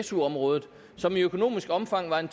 su området som i økonomisk omfang var